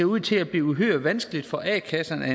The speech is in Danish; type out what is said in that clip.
ud til at blive uhyre vanskeligt for a kasserne at